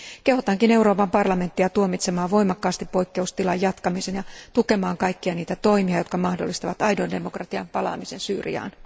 Kehotankin Euroopan parlamenttia tuomitsemaan voimakkaasti poikkeustilan jatkamisen ja tukemaan kaikkia toimia, jotka mahdollistavat aidon demokratian palaamisen Syyriaan.